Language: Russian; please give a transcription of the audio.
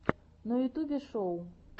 на ютубе шоу